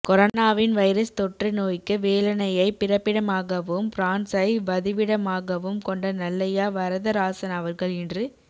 கொரனாவின் virus தொற்று நோய்க்கு வேலனையைப் பிறப்பிடமாகவும் பிரான்சை வதிவிடமாகவும் கொண்ட நல்லையா வரதராசன் அவர்கள் இன்று